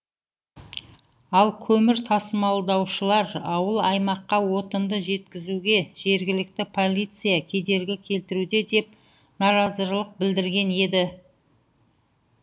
ал көмір тасымалдаушылар ауыл аймаққа отынды жеткізуге жергілікті полиция кедергі келтіруде деп наразылық білдірген еді